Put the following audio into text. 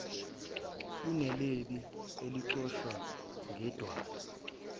kuneliba eliqoshwe ngedwala